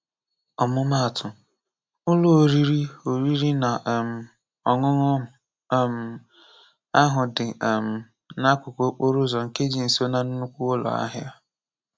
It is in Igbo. Ọmụmaatụ, Ụlọ oriri oriri na um ọṅụṅụ um ahu dị um n'akụkụ okporoụzọ nke dị nso na nnukwu ụlọahịa.